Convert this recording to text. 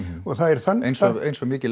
og það er þannig eins og mikil